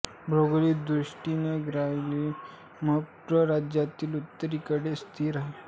भौगोलिक दृष्टि ने ग्वालियर म प्र राज्यातील उत्तरे कडे स्थित आहे